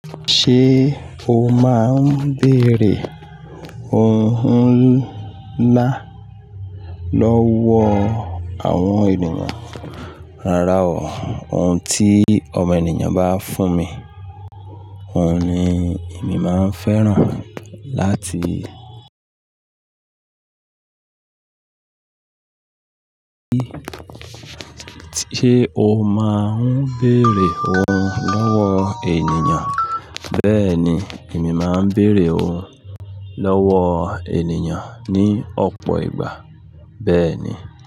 Ṣé o máa ń bèrè ohun ńlá lọ́wọ́ àwọn ènìyàn? Rárá o, ohun tí ọmọ ènìyàn bá fún mi, òun ni èmi máa ń fẹ́ràn láti lò. Ṣé o máa ń béèrè ohun lọ́wọ́ ènìyàn? Bẹ́ẹ̀ ni, èmi máa ń bèrè ohun lọ́wọ́ ènìyàn ní ọ̀pọ̀ ìgbà. Bẹ́ẹ̀ ni.